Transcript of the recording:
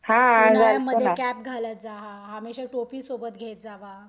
उन्हाळ्यामध्ये कॅप घालत जा हमेशा टोपी सोबत घेत जावा.